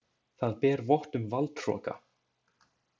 Það ber vott um valdhroka.